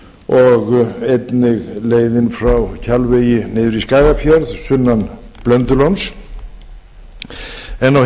og einnig leiðin frá kjalvegi niður í skagafjörð sunnan blöndulóns en á hinn